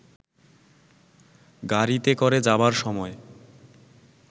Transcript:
গাড়ীতে করে যাবার সময়